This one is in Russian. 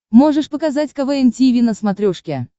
можешь показать квн тиви на смотрешке